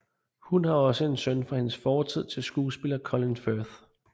Hun har også en søn fra hendes forhold til skuespiller Colin Firth